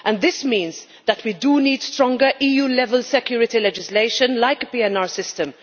This means that we do need stronger EU-level security legislation, like a PNR system.